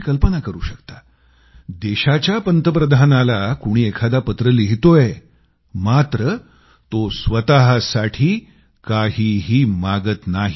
तुम्ही कल्पना करू शकता देशाच्या पंतप्रधानाला कोणी एखादा पत्र लिहितोय मात्र तो स्वतःसाठी काहीही मागत नाही